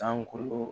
Sankolo